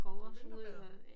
Du vinterbader